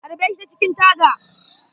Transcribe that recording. Harbe shi ta cikin taga.